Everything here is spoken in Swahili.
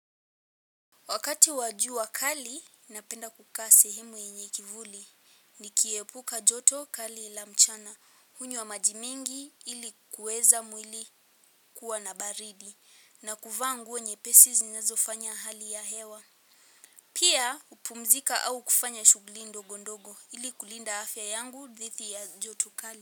Wakati wa jua kali, napenda kukaa sehemu yenye kivuli. Nikiepuka joto kali la mchana. Hunywa maji mingi ili kuweza mwili kuwa na baridi. Na kuvaa nguo nyepesi zinezofanya hali ya hewa. Pia upumzika au kufanya shughuli ndogo ndogo ili kulinda afya yangu dhidi ya joto kali.